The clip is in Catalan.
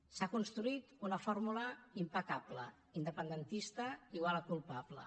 s’ha construït una fórmula impecable independentista igual a culpable